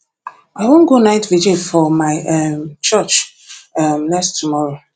i wan go night vigil for my um church um next tomorrow